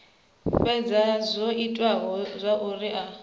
fhedza zwo ita zwauri a